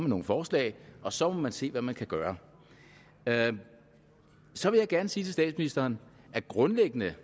nogle forslag og så må man se hvad man kan gøre så vil jeg gerne sige til statsministeren at grundlæggende